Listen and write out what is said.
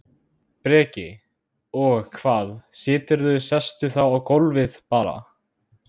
Breki: Og hvað, siturðu, sestu þá á gólfið bara?